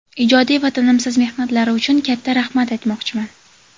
ijodiy va tinimsiz mehnatlari uchun katta "rahmat" aytmoqchiman.